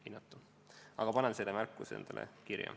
Aga ma panen selle märkuse endale kirja.